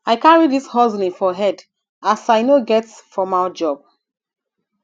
i carry dis hustling for head as i no get formal job